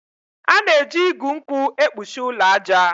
A na-eji igu nkwụ ekpuchi ụlọ aja.